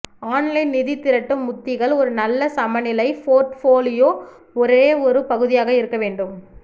online நிதி திரட்டும் உத்திகள் ஒரு நல்ல சமநிலை போர்ட்ஃபோலியோ ஒரே ஒரு பகுதியாக இருக்க வேண்டும்